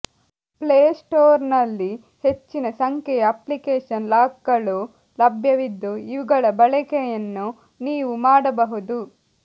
ಪ್ಲೇಸ್ಟೋರ್ನಲ್ಲಿ ಹೆಚ್ಚಿನ ಸಂಖ್ಯೆಯ ಅಪ್ಲಿಕೇಶನ್ ಲಾಕ್ಗಳು ಲಭ್ಯವಿದ್ದು ಇವುಗಳ ಬಳಕೆಯನ್ನು ನೀವು ಮಾಡಬಹುದು